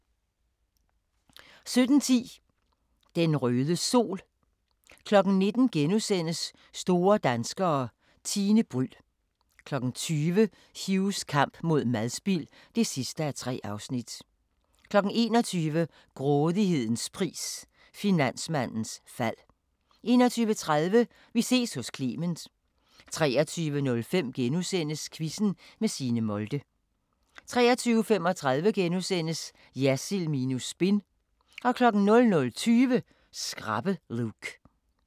17:10: Den røde sol 19:00: Store danskere – Tine Bryld * 20:00: Hughs kamp mod madspild (3:3) 21:00: Grådighedens pris – Finansmandens fald 21:30: Vi ses hos Clement 23:05: Quizzen med Signe Molde * 23:35: Jersild minus spin * 00:20: Skrappe Luke